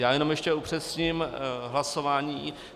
Já jenom ještě upřesním hlasování.